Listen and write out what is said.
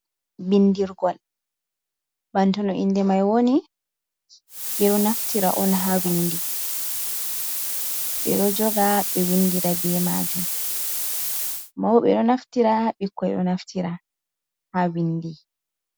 Binndirgol banta no innde may woni, ɓe ɗo naftira on haa winndi, ɓe ɗo joga ɓe winndira be maajum, mawɓe ɗo naftira, bikkoy ɗo naftira haa winndi.